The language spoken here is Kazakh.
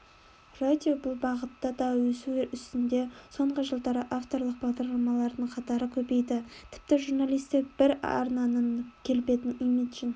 радио бұл бағытта да өсу үстінде соңғы жылдары авторлық бағдарламалардың қатары көбейді тіпті журналистер бір арнаның келбетін имиджін